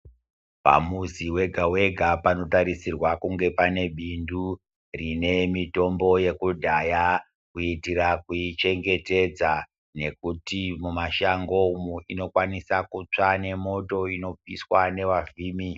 Pamuzi wega wega panotarisirwa kunge pane bindu rine mitombo yekudhaya kuitira kuichengetedza nekuti mumashango umwo inokwanisa kutsva nemoto inopiswa nevavhimi.